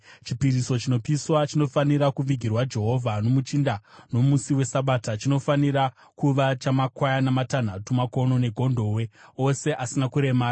Chipiriso chinopiswa chinofanira kuvigirwa Jehovha nomuchinda nomusi weSabata, chinofanira kuva chamakwayana matanhatu makono negondobwe, ose asina kuremara.